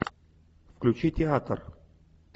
включи театр